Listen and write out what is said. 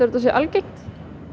þetta sé algengt